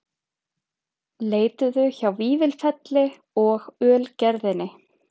Leituðu hjá Vífilfelli og Ölgerðinni